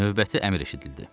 Növbəti əmr eşidildi: